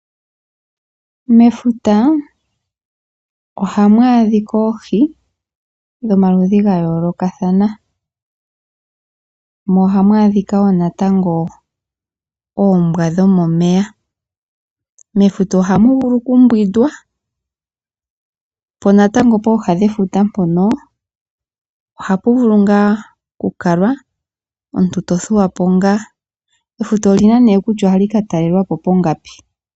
Mefuta ohamu adhika oohi dhomaludhi gayolokathana. Mo ohamu adhika wo natango oombwa dhomomeya. Mefuta ohamu vulu kumbwindwa. Po natango pooha dhefuta mpono ohapu vulu ngaa ku kalwa. Omuntu to thuwapo ngaa. Efuta olina nee kutya ohali ka talelwapo pongapi.